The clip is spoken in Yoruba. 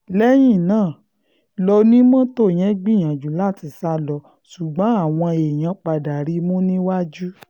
lẹ́yìn náà lọ́nimọ́tò yẹn gbìyànjú láti sá lọ ṣùgbọ́n àwọn èèyàn padà rí i mú níwájú